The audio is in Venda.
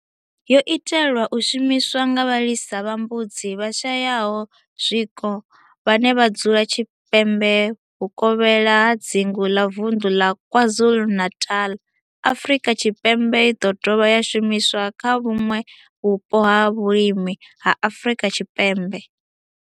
yo itelwa u shumiswa nga vhalisa vha mbudzi vhashayaho zwiko vhane vha dzula tshipembe vhuvokhela ha dzingu la Vundu la KwaZulu-Natal, Afrika Tshipembe i do dovha ya shumiswa kha vhuṋwe vhupo ha vhulimi ha Afrika Tshipembe.